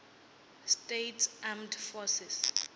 states armed forces